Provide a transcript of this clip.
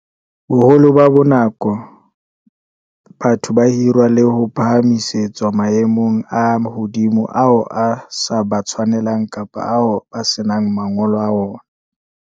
Boholo ba nako, batho ba hirwa le ho phahamisetswa maemong a hodimo ao a sa ba tshwaneleng kapa ao ba senang mangolo a ona.